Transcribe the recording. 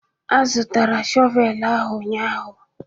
A zụtara shọvel la ahu ụnyahụ.